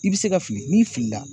I bɛ se ka fili n'i fili la.